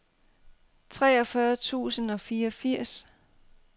treogfyrre tusind og fireogfirs